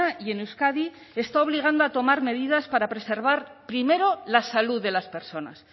y en euskadi está obligando a tomar medidas para preservar primero la salud de las personas